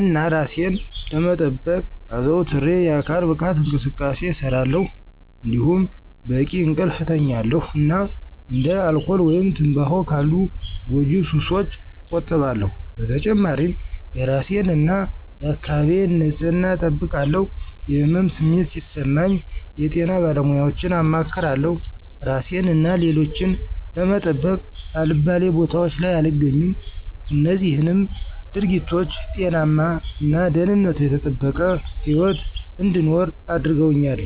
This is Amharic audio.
እና እራሴን ለመጠበቅ አዘውትሬ የአካል ብቃት እንቅስቃሴ እሰራለሁ። እንዲሁም በቂ እንቅልፍ እተኛለሁ እና እንደ አልኮል ወይም ትምባሆ ካሉ ጎጂ ሱሶች እቆጠባለሁ። በተጨማሪም የእራሴን እና የአካባቢዬን ንፅህና እጠብቃለሁ። የህመም ስሜት ሲሰማኝ የጤና ባለሙያወችን አማክራለሁ። እራሴን እና ሌሎችን ለመጠበቅ አልባሌ ቦታወች ላይ አልገኝም። እነዚህም ድርጊቶች ጤናማ እና ደህንነቱ የተጠበቀ ህይወት እንድኖር አድርገውኛል።